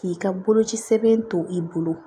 K'i ka boloci sɛbɛn to i bolo